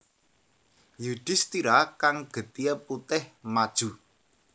Yudhistira kang getihé putih maju